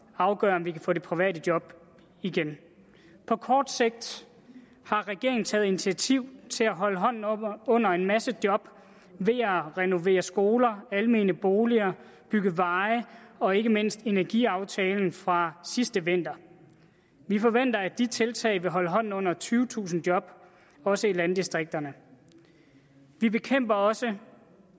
afgøre om vi kan få de private job igen på kort sigt har regeringen taget initiativ til at holde hånden under en masse job ved at renovere skoler almene boliger bygge veje og ikke mindst energiaftalen fra sidste vinter vi forventer at de tiltag vil holde hånden under tyvetusind job også i landdistrikterne vi bekæmper også